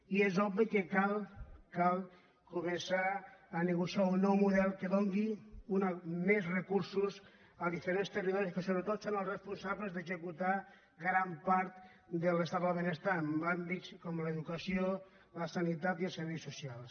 i és obvi que cal cal començar a negociar un nou model que doni més recursos als diferents territo·ris que sobretot són els responsables d’executar gran part de l’estat del benestar en àmbits com l’educació la sanitat i els serveis socials